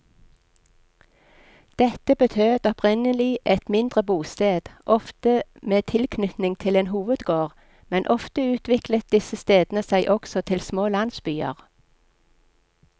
Dette betød opprinnelig et mindre bosted, ofte med tilknytning til en hovedgård, men ofte utviklet disse stedene seg også til små landsbyer.